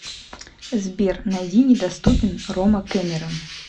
сбер найди недоступен рома кемерон